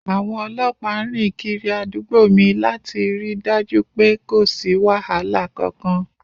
Àwọn ọlọ́pàá ń rìn kiri àdúgbò mi láti ri dájú pe kò sí wàhálà kankan.